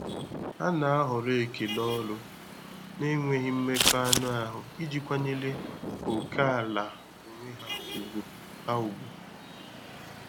Ha na-ahọrọ ekele ọnụ na-enweghị mmekọ anụ ahụ iji kwanyere ókèala onwe ha ùgwù. ha ùgwù.